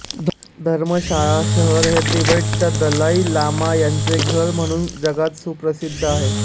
धरमशाला शहर हे तिबेटच्या दलाई लामा यांचे घर म्हणून जगात सुप्रसिद्ध आहे